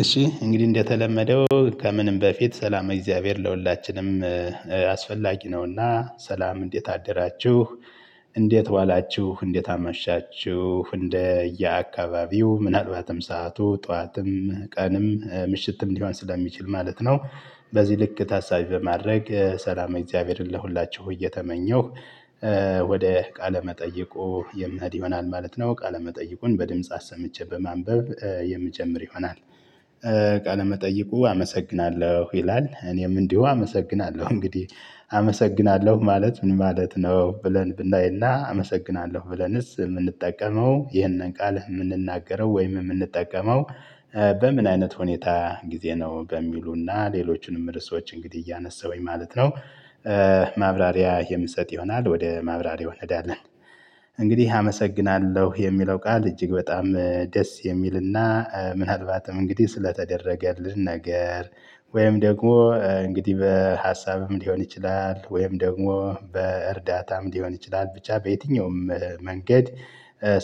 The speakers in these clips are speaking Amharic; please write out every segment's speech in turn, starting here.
እሺ እንግዲህ እንደተለመደው ከምንም በፊት ሰላም እግዚአብሔር ለሁላችንም አስፈላጊ ነውና ሰላም እንዴት አደራችሁ እንዴት ዋላችሁ እንዴት አመሻችሁ እንደየአካባቢው ምናልባትም ሰዓቱ ጠዋትም ቀንም ምሽትም ሊሆን ስለሚችል ማለት ነው። በዚህ ልክ ታሳቢ በማድረግ ሰላማዊ እግዚአብሔርን ለሁላችሁ እየተመኘሁ ወደ ቃለ መጠይቁ የምህድ ይሆናል ማለት ነው ቃለመጠይቁን በድምጽ አሰምቼ በማንበብ የምጀምር ይሆናል። ቃለመጠይቁ መጠይቁ አመሰግናለሁ ይላል እኔም እንዲሁ አመሰግናለሁ እንግዲህ አመሰግናለሁ ማለት ምን ማለት ነው? ብለን ብናይና አመሰግናለሁ ብለንስ የምንጠቀመው ይህንን ቃል የምንናገረው ወይም የምንጠቀመው በምን አይነት ሁኔታ ጊዜ ነው በሚሉና ሌሎችንም ርዕሶች እንግዲህ እያነሳሁኝ ማለት ነው። ማብራሪያ የምሰጥ ይሆናል ወደ ማብራሪያው እንሄዳለን። እንግዲህ አመሰግናለሁ የሚለው ቃል እጅግ በጣም ደስ የሚልና ምናልባትም እንግዲህ ስለተደረገልን ነገር ወይም ደግሞ እንግዲህ በሀሳብም ሊሆን ይችላል ወይም ደግሞ በእርዳታም ሊሆን ይችላል ብቻ በየትኛውም መንገድ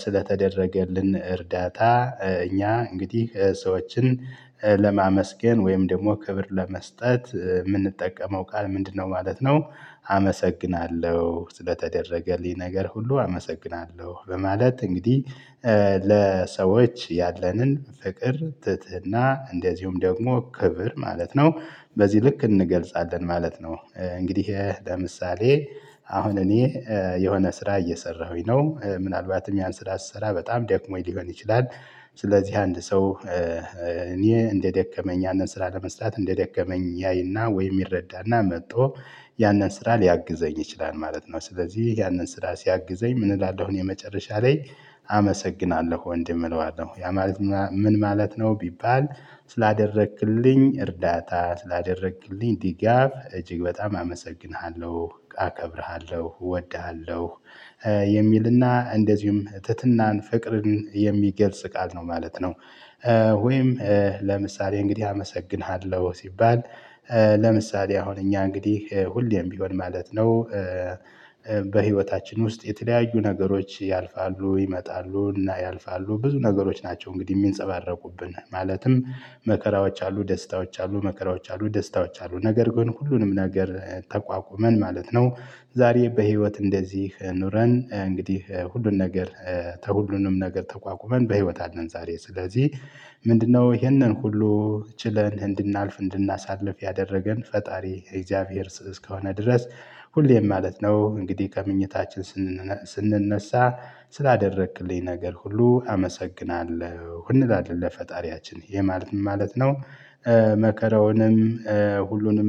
ስለተደረገልን እርዳታ እኛ እንግዲህ ሰዎችን ለማመስገን ወይም ደግሞ ክብር ለመስጠት የምንጠቀመው ቃል ምንድነው ማለት ነው? አመሰግናለሁ ስለተደረገልኝ ነገር ሁሉ አመሰግናለሁ በማለት እንግዲህ ለሰዎች ያለንን ፍቅር ትህትና እንደዚሁም ደግሞ ክብር ማለት ነው በዚህ ልክ እንገልጻለን ማለት ነው። እንግዲህ ለምሳሌ አሁን እኔ የሆነ ስራ እየሰራሁኝ ነው ምናልባትም ያን ስራ ስሰራ በጣም ደክሞኝ ሊሆን ይችላል ስለዚህ አንድ ሰው እኔ እንደደከመኝ ያንን ስራ ለመስጠት እንደደከመኝ ያይና ወይ ይረዳና መጥቶ ያንን ስራ ሊያግዘኝ ይችላል ማለት ነው። ስለዚህ ያንን ስራ ሲያግዘኝ ምን እላለሁኝ? የመጨረሻ ላይ አመሰግናለሁ ወንድም እለዋለሁ ያ ማለት ምን ማለት ነው? ቢባል ስላደረክልኝ እርዳታ ስላደረክልኝ ድጋፍ እጅግ በጣም አመሰግንሃለሁ አከብርሃለሁ እወድሃለሁ የሚልና እንደዚሁም ትህትናን ፍቅርን የሚገልጽ ቃል ነው ማለት ነው። ወይም ለምሳሌ እንግዲህ አመሰግንሃለሁ ሲባል ለምሳሌ አሁን እኛ እንግዲህ ሁሌም ቢሆን ማለት ነው። በህይወታችን ውስጥ የተለያዩ ነገሮች ያልፋሉ ይመጣሉ እና ያልፋሉ ብዙ ነገሮች ናቸው እንግዲህ የሚንፀባረቁብን ማለትም መከራዎች አሉ ደስታዎች አሉ መከራዎች አሉ ደስታዎች አሉ ነገር ግን ሁሉንም ነገር ተቋቁመን ማለት ነው። ዛሬ በህይወት እንደዚህ ኑረን እንግዲህ ሁሉን ነገር ተሁሉንም ነገር ተቋቁመን በህይወት አለን ዛሬ ስለዚህ ምንድነው ይሄንን ሁሉ ችለን እንድናልፍ እንድናሳልፍ ያደረገን ፈጣሪ እግዚአብሔር እስከሆነ ድረስ ሁሌም ማለት ነው እንግዲህ ከመኝታችን ስንነሳ ስላደረክልኝ ነገር ሁሉ አመሰግናለሁ እንላለን ለፈጣሪያችን ይሄ ማለት ምን ማለት ነው? መከራውንም ሁሉንም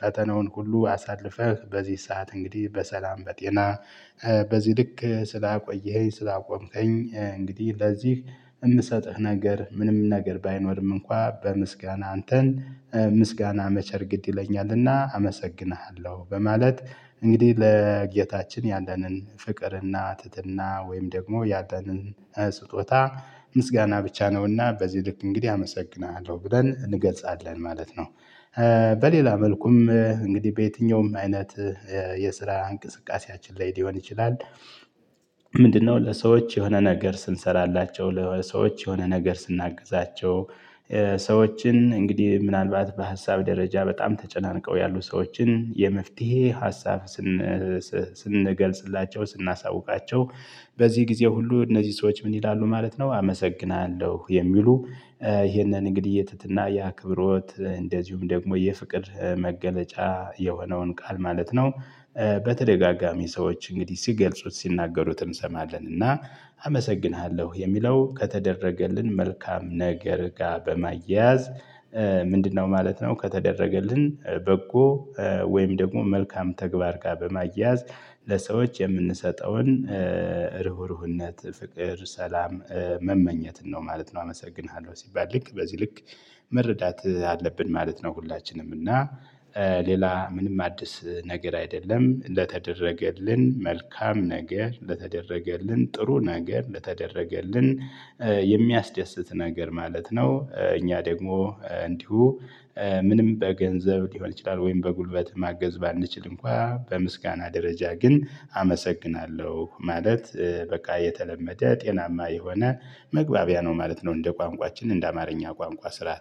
ፈተናውን ሁሉ አሳልፈህ በዚህ ሰዓት እንግዲህ በሰላም በጤና በዚህ ልክ ስላቆየኝ ስላቆምከኝ እንግዲህ ለዚህ እምሰጥህ ነገር ምንም ነገር ባይኖርም እንኳን በምስጋና አንተን ምስጋና መቸር ግድ ይለኛልና አመሰግንሃለሁ በማለት እንግዲህ ለጌታችን ያለንን ፍቅርና ትህትና ወይም ደግሞ ያለነን ስጦታ ምስጋና ብቻ ነውና በዚህ ልክ እንግዲህ አመሰግናለሁ ብለን እንገልጻለን ማለት ነው። በሌላ መልኩም እንግዲህ በየትኛውም አይነት የስራ እንቅስቃሴያችን ላይ ሊሆን ይችላል። ምንድ ነው ለሰዎች የሆነ ነገር ስንሰራላቸው ለሰዎች የሆነ ነገር ስናግዛቸው ሰዎችን እንግዲህ ምናልባት በሀሳብ ደረጃ በጣም ተጨናንቀው ያሉ ሰዎችን የመፍትሄ ሀሳብ ስንገልጽላቸው ስናሳውቃቸው በዚህ ጊዜ ሁሉ እነዚህ ሰዎች ምን ይላሉ ማለት ነው። አመሰግናለሁ የሚሉ እሄንን እንግዲህ የትህትና የአክብሮት እንደዚሁም ደግሞ የፍቅር መገለጫ የሆነውን ቃል ማለት ነው። በተደጋጋሚ ሰዎች እንግዲህ ሲገልጹት ሲናገሩት እንሰማለን እና አመሰግንሃለሁ የሚለው ከተደረገልን መልካም ነገር ጋር በማያያዝ ምንድነው ማለት ነው? ከተደረገልን በጎ ወይም ደግሞ መልካም ተግባር ጋር በማያያዝ ለሰዎች የምንሰጠውን ርህሩህነት ፍቅር ሰላም መመኘትን ነው ማለት ነው። አመሰግንሃለሁ ሲባል ልክ በዚህ ልክ መረዳት አለብን ማለት ነው። ሁላችንም እና ሌላ ምንም አዲስ ነገር አይደለም እንደተደረገልን መልካም ነገር ለተደረገልን ጥሩ ነገር ለተደረገልን የሚያስደስት ነገር ማለት ነው። እኛ ደግሞ እንዲሁ ምንም በገንዘብ ሊሆን ይችላል ወይም በጉልበት ማገዝ ባንችል እንኳን በምስጋና ደረጃ ግን አመሰግናለሁ ማለት በቃ የተለመደ ጤናማ የሆነ መግባቢያ ነው ማለት ነው። እንደ ቋንቋችን እንደ አማርኛ ቋንቋ ስርዓት